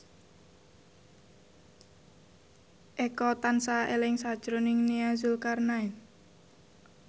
Eko tansah eling sakjroning Nia Zulkarnaen